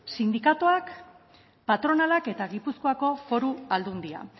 sindikatuak patronalak eta gipuzkoako foru aldundia